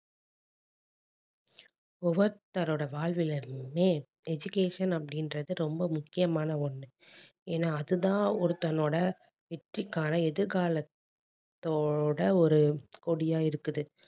ஒவ்வொருத்தரோட வாழ்வில இருந்துமே education அப்படின்றது ரொம்ப முக்கியமான ஒண்ணு ஏன்னா அதுதான் ஒருத்தனோட வெற்றிக்கான எதிர்காலத்தோட ஒரு கொடியா இருக்குது